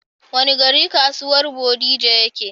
Wani gari kasuwan bodija ya ke?